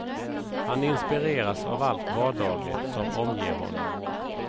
Han inspireras av allt vardagligt som omger honom.